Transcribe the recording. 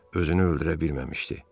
Özünü öldürə bilməmişdi.